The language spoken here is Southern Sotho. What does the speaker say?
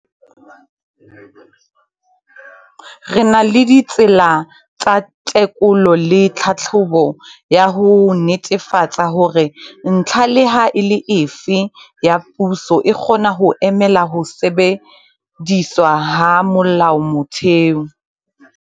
Re na la ditsela tsa tekolo le tlhahlobo ya ho netefatsa hore ntlha leha e le efe ya puso e kgona ho emela ho shebisiswa ha molaotheo.